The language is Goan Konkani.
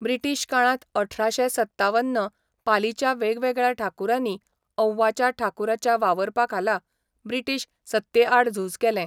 ब्रिटीश काळांत अठराशें सत्तावन पालीच्या वेगवेगळ्या ठाकुरांनी औवाच्या ठाकुराच्या वावरपाखाला ब्रिटीश सत्तेआड झूज केलें.